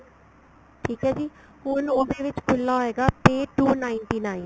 ਠੀਕ ਏ ਜੀ ਹੁਣ ਉਹਦੇ ਵਿੱਚ ਖੁੱਲਾ ਹੋਏਗਾ pay two ninety nine